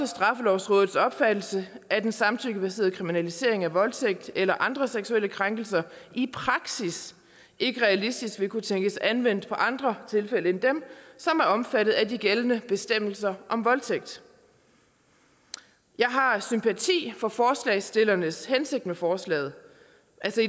straffelovrådets opfattelse at en samtykkebaseret kriminalisering af voldtægt eller andre seksuelle krænkelser i praksis ikke realistisk vil kunne tænkes anvendt på andre tilfælde end dem som er omfattet af de gældende bestemmelser om voldtægt jeg har sympati for forslagsstillernes hensigt med forslaget